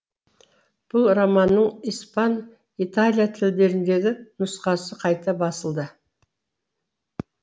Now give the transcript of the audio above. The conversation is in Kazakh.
бұл романның испан италия тілдеріндегі нұсқасы қайта басылды